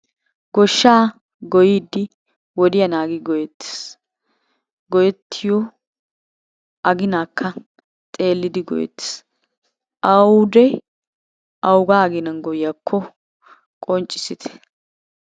Goshshaa goyidi wodiya naagi goyeettees. Goyettiyo aginaakka xeellidi goyeettes, awude awugaa aginan goyiyakko qonccissite.